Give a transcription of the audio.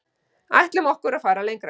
Ætlum okkur að fara lengra